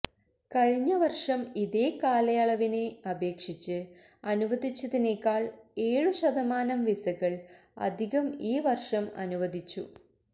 കഴിഞ്ഞ വർഷം ഇതേ കാലയളവിനെ അപേക്ഷിച്ച് അനുവദിച്ചതിനേക്കാൾ ഏഴു ശതമാനം വിസകൾ അധികം ഈ വർഷം അനുവദിച്ചു